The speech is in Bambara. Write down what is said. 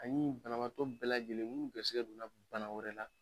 Ani banabaatɔ bɛɛ lajɛlen minnu garisigɛ donna bana wɛrɛ la